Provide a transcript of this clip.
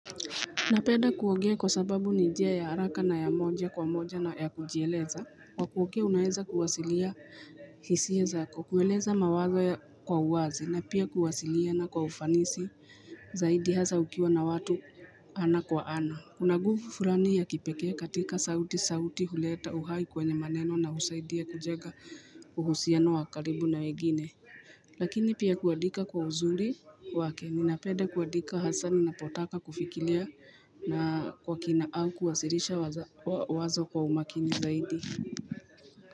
Na penda kuongea kwa sababu ni njia ya haraka na ya moja kwa moja na ya kujieleza Kwa kuongea unaeza kuwasilia hisia zako, kueleza mawazo ya kwa uwazi na pia kuwasiliana kwa ufanisi Zaidi hasa ukiwa na watu ana kwa ana Kuna nguvu furani ya kipekee katika sauti sauti huleta uhai kwenye maneno na husaidia kubjega uhusiano wakaribu na wengine Lakini pia kuandika kwa uzuri wake ninapenda kuadika hasa ninapotaka kufikilia na kwa kina au kuwasirisha wazo kwa umakini zaidi.